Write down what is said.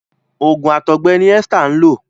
oògùn àtọgbẹ ní Esther nlọ.